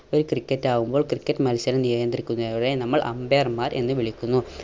ഒരു ക്രിക്കറ്റ് ആവുമ്പോൾ ക്രിക്കറ്റ് മത്സരം നിയന്ത്രിക്കുന്നവരെ നമ്മൾ umpire മാർ എന്ന് വിളിക്കുന്നു